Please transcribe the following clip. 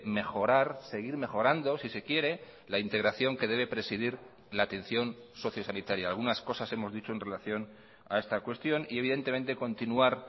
mejorar seguir mejorando si se quiere la integración que debe presidir la atención socio sanitaria algunas cosas hemos dicho en relación a esta cuestión y evidentemente continuar